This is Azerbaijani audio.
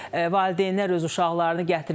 Valideynlər öz uşaqlarını gətirmişdilər.